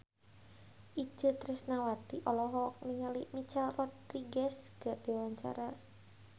Itje Tresnawati olohok ningali Michelle Rodriguez keur diwawancara